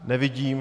Nevidím.